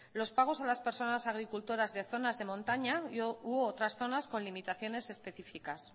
los pagos a las personas agricultoras de zonas de montaña u otras zonas con limitaciones específicas